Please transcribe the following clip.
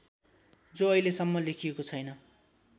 जो अहिलेसम्म लेखिएको छैन